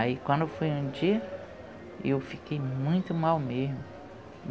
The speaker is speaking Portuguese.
Aí, quando foi um dia, eu fiquei muito mal mesmo.